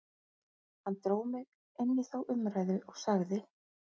Hann dró mig inn í þá umræðu og sagði